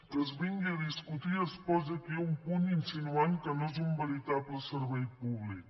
que es vingui a discutir i es posi aquí un punt insi·nuant que no és un veritable servei públic